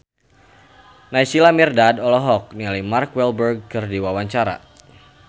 Naysila Mirdad olohok ningali Mark Walberg keur diwawancara